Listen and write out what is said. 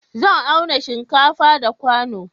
Zan auna shinkafa da kwano